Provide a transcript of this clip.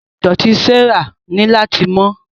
Ilé idọti Sarah ni lati mọ.